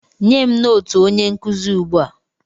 Nye m nootu onye nkụzi ugbu a!